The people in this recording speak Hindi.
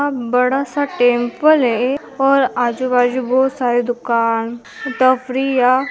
यहाँ बड़ा सा टेंपल है और आजूबाजू बहुत सारे दुकान ठफरीया --